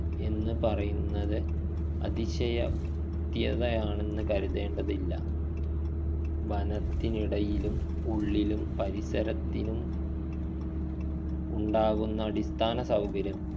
എന്ന് പറയുന്നത് അതിശയ ക്തിയതയാണെന്ന് കരുതേണ്ടതില്ല വനത്തിനിടയിലും ഉള്ളിലും പരിസരത്തിലും ഉണ്ടാകുന്ന അടിസ്ഥാന സൗകര്യങ്ങൾ